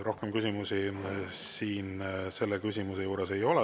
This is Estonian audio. Rohkem küsimusi selle küsimuse juures ei ole.